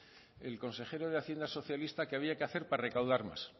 el consejero de hacienda socialista que había que hacer para recaudar más